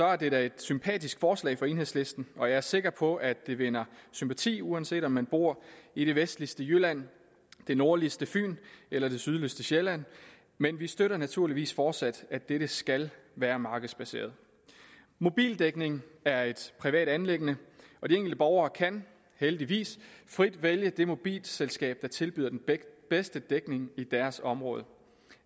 er det da et sympatisk forslag fra enhedslisten og jeg er sikker på at det vinder sympati uanset om man bor i det vestligste jylland det nordligste fyn eller det sydligste sjælland men vi støtter naturligvis fortsat at dette skal være markedsbaseret mobildækning er et privat anliggende og de enkelte borgere kan heldigvis frit vælge det mobilselskab der tilbyder den bedste dækning i deres område